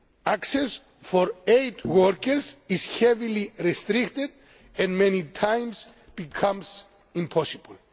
Access for aid workers is heavily restricted and many times becomes impossible.